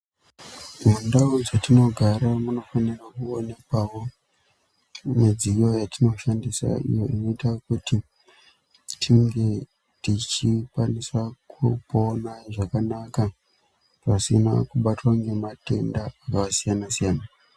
Mundau dzatinogara munofanira kuonekwawo midziyo yatinoshandisa inoita kuti tinge tichikwanisa kupona zvakanaka pasina kubatwa ngematenda zvakasiyana siyana.